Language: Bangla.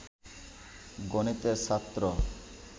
গণিতের ছাত্র